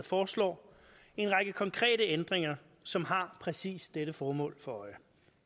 foreslår en række konkrete ændringer som har præcis dette formål for øje